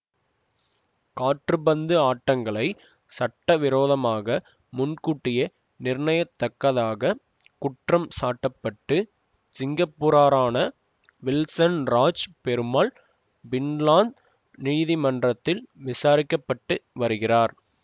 காற்பந்து ஆட்டங்களை சட்டவிரோதமாக முன்கூட்டியே நிர்ணயத்தக்கதாக குற்றம் சாட்டப்பட்டு சிங்கப்பூரரான வில்சன் ராஜ் பெருமாள் பின்லாந்து நீதிமன்றத்தில் விசாரிக்க பட்டு வருகிறார்